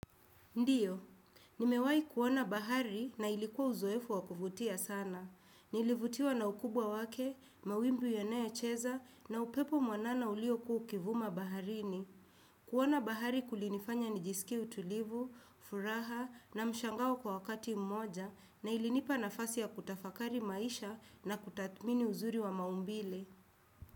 Ndiyo, nimewahi kuona bahari na ilikuwa uzoefu wa kuvutia sana. Nilivutiwa na ukubwa wake, mawimbi yanayocheza na upepo mwanana uliokua ukivuma baharini. Kuona bahari kulinifanya nijisikie utulivu, furaha na mshangao kwa wakati mmoja na ilinipa nafasi ya kutafakari maisha na kutathmini uzuri wa maumbile.